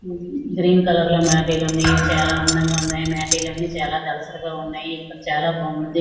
Green colour లో మాటీలు ఉన్నాయి. ఇవి చాలా అందంగా ఉన్నాయి. మాటీల అన్నీ చాలా దళసరిగా ఉన్నాయి. ఇక్కడ చాలా బాగుంది.